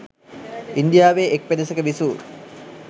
ඉන්දියාවේ එක් පෙදෙසක විසූ